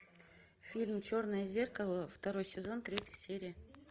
фильм черное зеркало второй сезон третья серия